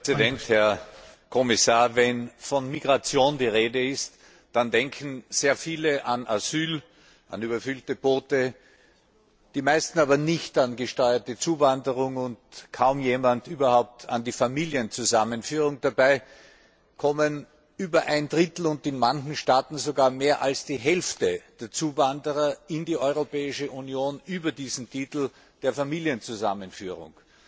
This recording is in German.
Herr Präsident, Herr Kommissar! Wenn von Migration die Rede ist, dann denken sehr viele an Asyl, an überfüllte Boote, die meisten aber nicht an gesteuerte Zuwanderung und kaum jemand überhaupt an die Familienzusammenführung. Dabei kommen über ein Drittel, und in manchen Staaten sogar mehr als die Hälfte der Zuwanderer in die Europäische Union über diesen Titel der Familienzusammenführung.